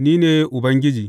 Ni ne Ubangiji.